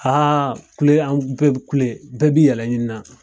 kule an bɛɛ bɛ kule bɛɛ b'i yɛrɛ ɲini nan.